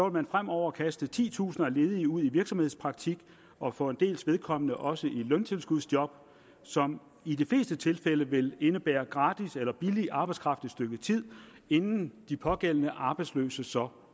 man fremover kaste titusinder af ledige ud i virksomhedspraktik og for en dels vedkommende også i løntilskudsjob som i de fleste tilfælde vil indebære gratis eller billig arbejdskraft et stykke tid inden de pågældende arbejdsløse så